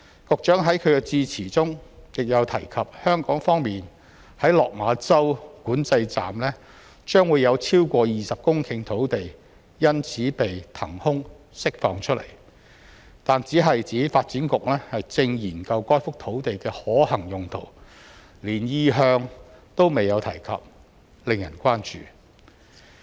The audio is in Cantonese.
局長在其致辭中亦有提及，香港方面在落馬洲管制站將有超過20公頃土地因此被騰空釋放出來，但只是指發展局正研究該幅土地的可行用途，連意向都未有提及，令人關注。